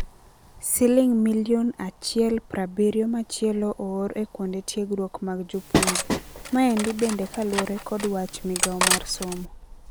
Siliong milion mia achiel prabirio machielo oor e kuende tiegrwok mag jopuonje. Maendi bende kaluore kod wach migao mar somo.